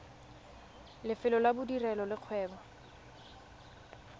lefelo la bodirelo le kgwebo